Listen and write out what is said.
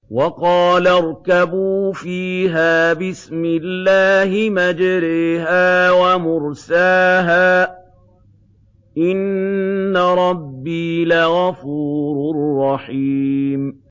۞ وَقَالَ ارْكَبُوا فِيهَا بِسْمِ اللَّهِ مَجْرَاهَا وَمُرْسَاهَا ۚ إِنَّ رَبِّي لَغَفُورٌ رَّحِيمٌ